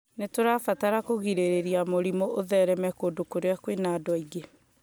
nĩ tũrabatara kũgirĩrĩria mũrimũ ũthereme kũndũ kũrĩa kũrĩ na andũ aingĩ